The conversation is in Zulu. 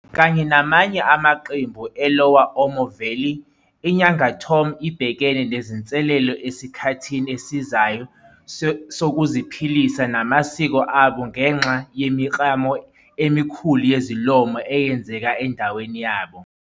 Kanye namanye amaqembu eLower Omo Valley, iNyangatom ibhekene nezinselelo esikhathini esizayo sokuziphilisa namasiko abo ngenxa yemiklamo emikhulu yezolimo eyenzeka endaweni yabo.